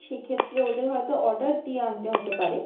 সেক্ষেত্রে ওদের হয়তো order দিয়ে আনতে হতে পারে।